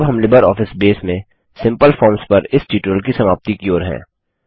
अब हम LibreOffice base में सिम्पल फॉर्म्स पर इस ट्यूटोरियल की समाप्ति की ओर हैं